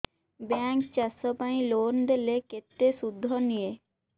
bank ଚାଷ ପାଇଁ loan ଦେଲେ କେତେ ସୁଧ ନିଏ